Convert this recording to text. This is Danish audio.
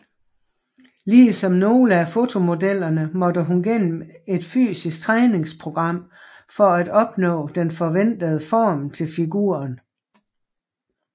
Ligesom nogle af fotomodellerne måtte hun gennem et fysisk træningsprogram for at opnå den forventede form til figuren